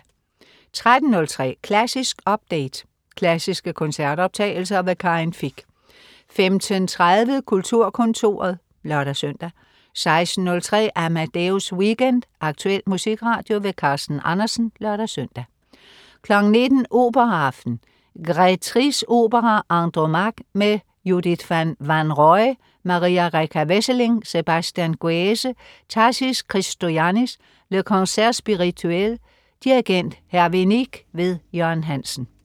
13.03 Klassisk update. Klassiske koncertoptagelser. Karin Fich 15.30 Kulturkontoret (lør-søn) 16.03 Amadeus Weekend. Aktuel musikradio. Carsten Andersen (lør-søn) 19.00 Operaaften. Grétrys opera Andromaque. Med Judith van Wanroij, Maria-Rccarda Wesseling, Sébastien Guèze, Tassis Christoyannis. Le Concert Spirituel. Dirigent: Hervé Nique. Jørgen Hansen